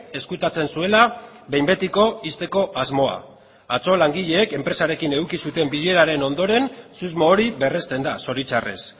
ezkutatzen zuela behin betiko ixteko asmoa atzo langileek enpresarekin eduki zuten bileraren ondoren susmo hori berresten da zoritxarrez